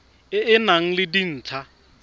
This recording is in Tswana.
e e nang le dintlha